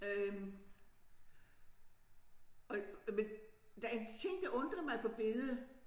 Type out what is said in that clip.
Øh og og men der en ting der undrer mig på billedet